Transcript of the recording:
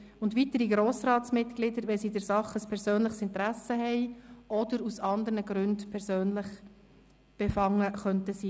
Ebenso betrifft dies weitere Grossratsmitglieder, wenn sie in der Sache ein persönliches Interesse haben oder aus anderen Gründen persönlich befangen sein könnten.